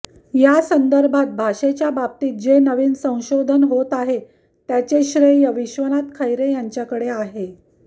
त्या संदर्भात भाषेच्या बाबतीत जे नवीन संशोधन होत आहे त्याचे श्रेय विश्वनाथ खैरे यांच्याकडे आहे